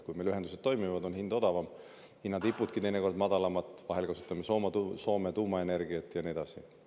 Kui meil ühendused toimivad, siis on hind odavam, hinnatipudki teinekord madalamad, vahel kasutame Soome tuumaenergiat, ja nii edasi.